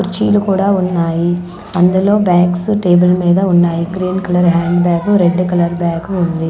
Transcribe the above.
కుర్చీలు కూడా ఉన్నాయి అందులో బ్యాగ్స్ టేబుల్ మీద ఉన్నాయి green colour hand bag red colour bag ఉంది.